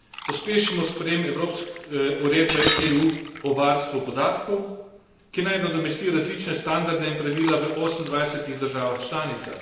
Pospešimo sprejem uredbe EU o varstvu podatkov, ki naj nadomesti različne standarde in pravila v 28 državah članicah.